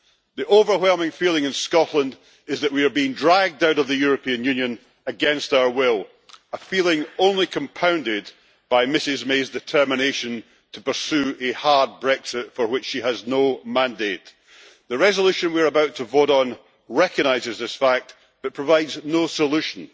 The overwhelming feeling in Scotland is that we are being dragged out of the European Union against our will, a feeling only compounded by Ms May's determination to pursue a hard Brexit for which she has no mandate. The resolution we are about to vote on recognises this fact, but provides no solution.